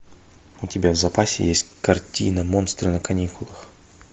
у тебя в запасе есть картина монстры на каникулах